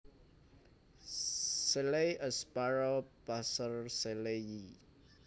Shelley s Sparrow Passer shelleyi